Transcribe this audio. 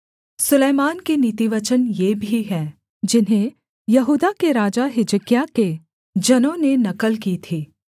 सुलैमान के नीतिवचन ये भी हैं जिन्हें यहूदा के राजा हिजकिय्याह के जनों ने नकल की थी